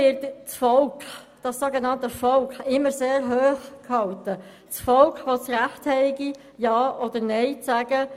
Im Grossen Rat wird das sogenannte Volk immer sehr hochgehalten, das Volk, welches das Recht habe, Ja oder Nein zu sagen.